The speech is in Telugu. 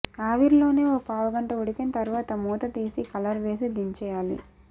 ఆవిరిలోనే ఓ పావుగంట ఉడికిన తర్వాత మూత తీసి కలర్ వేసి దించేయాలి